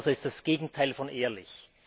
Ehrenhauser ist das Gegenteil von ehrlich!